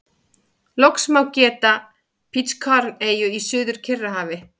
Loks má geta Pitcairn-eyju í Suður-Kyrrahafi.